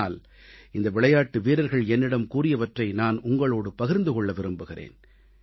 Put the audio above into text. ஆனால் இந்த விளையாட்டு வீரர்கள் என்னிடம் கூறியவற்றை நான் உங்களோடு பகிர்ந்து கொள்ள விரும்புகிறேன்